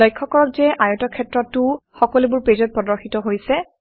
লক্ষ্য কৰক যে আয়তক্ষেত্ৰটোও সকলোবোৰ পেজত প্ৰদৰ্শিত হৈছে